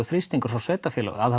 þrýstingur frá sveitarfélögum að